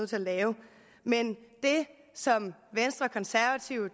til at lave men det som venstre konservative